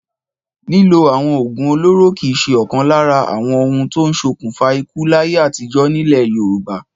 Ìlò àwọn òògùn olóró kì í ṣe ọ̀kan lára àwọn ohun tó ń ṣokùnfà ikú láyé àtijọ́ nílẹ̀ Yorùbá.